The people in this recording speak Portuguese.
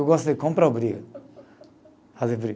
Eu gosto de comprar briga, fazer briga.